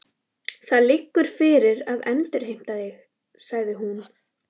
Það liggur fyrir að endurheimta þig, sagði hún.